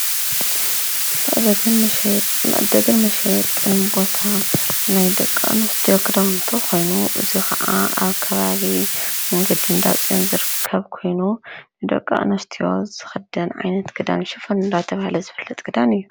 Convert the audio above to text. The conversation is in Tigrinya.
መዓደግን መሸጥን ቦታ ናይ ደቂ ኣንስትዮ ክዳዉንቲ ኮይኑ እዙይ ከዓ ኣብ ከባቢ መንገዲ እንዳ ፅዮን ዝርከብ ኮይኑ ንደቂ ኣንስትዮ ዝክደን ዓይነት ክዳን ሽፈን እንዳተባሃለ ዝፈለጥ ክዳን እዩ።